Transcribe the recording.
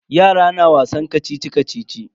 Yara na wasan kacici-kacici.